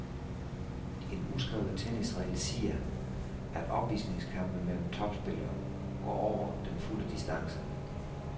En uskrevet tennisregel siger, at opvisningskampe mellem topspillere går over den fulde distance.